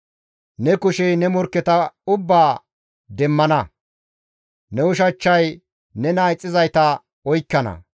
Ne kushey ne morkketa ubbaa demmana; ne ushachchay nena ixxizayta oykkana.